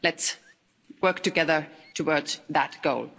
Let's work together towards that goal.